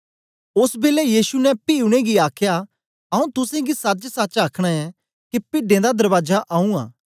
ओस बेलै यीशु ने पी उनेंगी आखया आऊँ तुसेंगी सचसच आखना ऐं के पिड्डें दा दरबाजा आऊँ आं